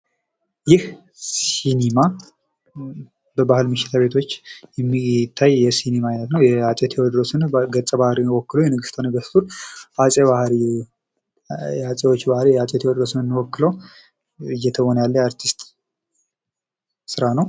ይህ ሲኒማ በባህል ምሽት ቤቶች የሚታይ የሲኒማ አይነት ነው። የአጼ ቴወድሮስን ገጸ ባህሪ ወክሎ ንጉሰ-ነገስቱን ባህር ንኩሶች ባህሪ አጼ ቴወድሮስን ወክሎ እየተወነ ያለ አርቲስት ስራ ነው።